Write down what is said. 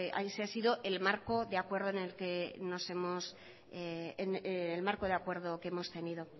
ha sido el marco de acuerdo que hemos tenido